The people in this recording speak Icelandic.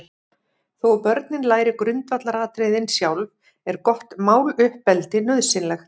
Þó að börnin læri grundvallaratriðin sjálf, er gott máluppeldi nauðsynlegt.